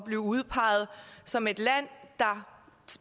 blive udpeget som et land der